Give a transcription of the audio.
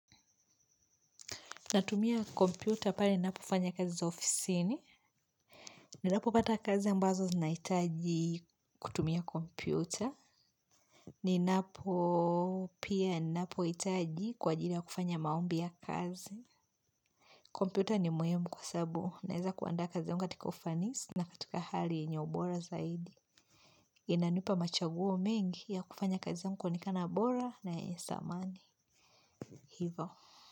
Natumia kompyuta pale ninapofanya kazi za ofisini. Ninapopata kazi ambazo zinahitaji kutumia kompyuta. Ninapo. Pia, ninapohitaji kwa ajiri ya kufanya maombi ya kazi. Kompyuta ni muhimu kwa sabu. Naweza kuandaa kazi katika ufanisi na katika hali yenye ubora zaidi. Inanipa mchaguo mengi ya kufanya kazi yangu kuonekana bora na yenye thamani. Ivo.